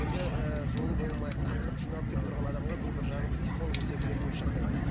енді ы жолы болмай қатты қиналып келіп тұрған адамға біз бір жағы психолог есебінде жұмыс жасаймыз